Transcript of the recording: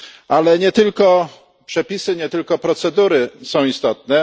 Ale nie tylko przepisy, nie tylko procedury są istotne.